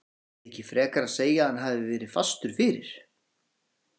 Eigum við ekki frekar að segja að hann hafi verið fastur fyrir?